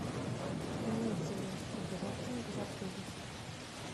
имеется ли услуга рафтинга в отеле